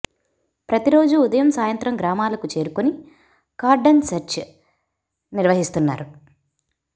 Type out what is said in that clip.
ప్రతి రోజు ఉదయం సాయంత్రం గ్రామాలకు చేరుకొని కార్డన్ సెర్చ్ నిర్వహిస్తున్నారు